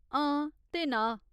हां ते ना !